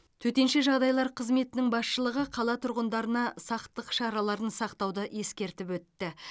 төтенше жағдайлар қызметінің басшылығы қала тұрғындарына сақтық шараларын сақтауды ескертіп өтті